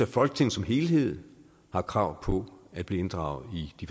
folketinget som helhed har krav på at blive inddraget i de